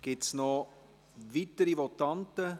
Gibt es weitere Votanten?